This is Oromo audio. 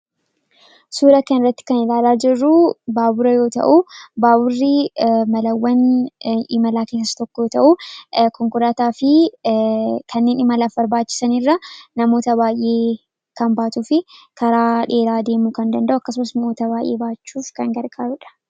Suuraa kanaa gadii irraa kan mul'atu baabura yoo ta'uu; baaburri malawwan geejjibaa keessaa isa tokkoo dha. Innis namoota imalaaf deeman hedduu konkolaataa caalaa kan fe'uu dha. Innis karaa dheeraa deemuu kan danda'uu dha.